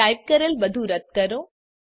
type કરેલ બધું રદ્દ કરો